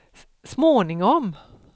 småningom